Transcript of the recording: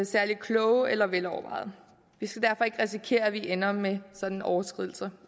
særlig kloge eller velovervejede vi skal derfor ikke risikere at vi ender med sådanne overskridelser